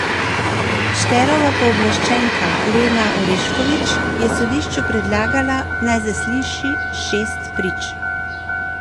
Šterova pooblaščenka Lena Oreškovič je sodišču predlagala, naj zasliši šest prič.